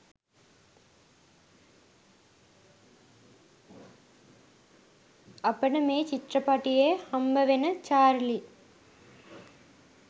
අපිට මේ චිත්‍රපටියේ හම්බවෙන චාර්ලී